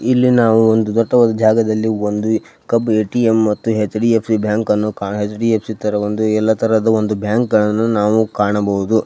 ಇಲ್ಲಿ ನಾವು ಒಂದು ದಟ್ಟವಾದ ಕಬ್ ಎ.ಟಿ.ಎಂ. ಮತ್ತು ಎಚ್.ಡಿ.ಎಫ್.ಸಿ. ಬ್ಯಾಂಕ್ ಅನ್ನು ಎಚ್.ಡಿ.ಎಫ್.ಸಿ. ತರ ಎಲ್ಲ ತರ ಒಂದು ಬ್ಯಾಂಕನ್ನು ಕಾಣಬಹುದು.